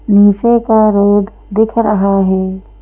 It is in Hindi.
नीचे का रोड दिख रहा है।